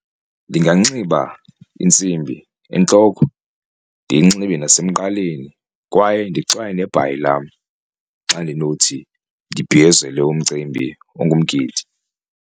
Ndinganxiba intsimbi entloko ndiyinxibe nasemqaleni kwaye ndixwaye nebhayi lam xa ndinothi ndibhiyozele umcimbi ongumgidi.